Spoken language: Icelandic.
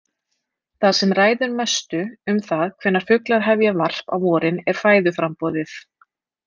Það sem ræður mestu um það hvenær fuglar hefja varp á vorin er fæðuframboðið.